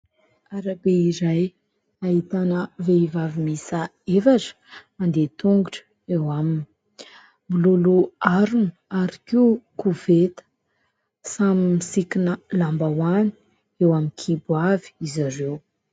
Arabe izay ahitana vehivavy miisa efatra mandeha tongotra eo aminy. Miloloha harona ary koa koveta, samy misikina lambahoany eo amin'ny kibo avy izy ireo.